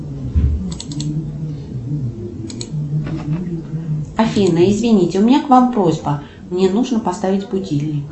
афина извините у меня к вам просьба мне нужно поставить будильник